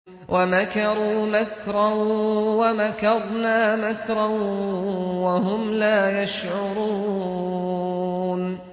وَمَكَرُوا مَكْرًا وَمَكَرْنَا مَكْرًا وَهُمْ لَا يَشْعُرُونَ